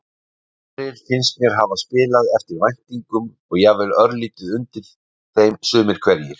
Aðrir finnst mér hafa spilað eftir væntingum og jafnvel örlítið undir þeim sumir hverjir.